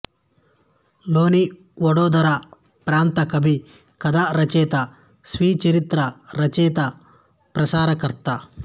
లోని వడోదర ప్రాంత కవి కథా రచయిత స్వీయచరిత్ర రచయిత ప్రసారకర్త